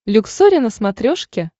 люксори на смотрешке